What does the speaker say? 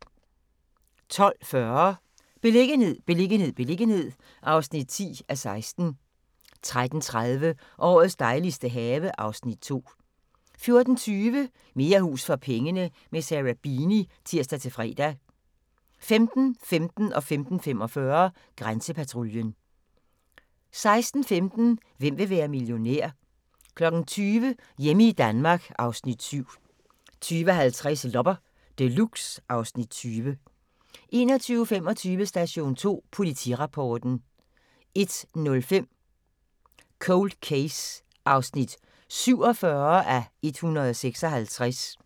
12:40: Beliggenhed, beliggenhed, beliggenhed (10:16) 13:30: Årets dejligste have (Afs. 2) 14:20: Mere hus for pengene – med Sarah Beeny (tir-fre) 15:15: Grænsepatruljen 15:45: Grænsepatruljen 16:15: Hvem vil være millionær? 20:00: Hjemme i Danmark (Afs. 7) 20:50: Loppe Deluxe (Afs. 20) 21:25: Station 2 Politirapporten 01:05: Cold Case (47:156)